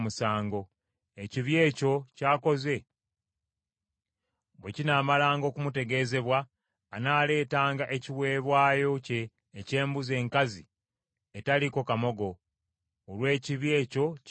Ekibi ekyo ky’akoze bwe kinaamalanga okumutegeezebwa, anaaleetanga ekiweebwayo kye eky’embuzi enkazi etaliiko kamogo, olw’ekibi ekyo ky’akoze.